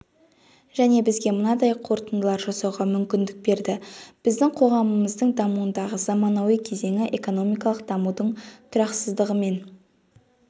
және бізге мынадай қорытындылар жасауға мүмкіндік берді біздің қоғамымыздың дамуындағы заманауи кезеңі экономикалық дамудың тұрақсыздығымен